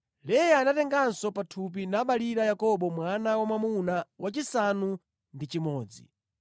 Leya anatenganso pathupi nabalira Yakobo mwana wa mwamuna wachisanu ndi chimodzi.